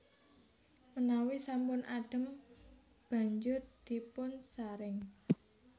Menawi sampun adhem banjur dipunsaring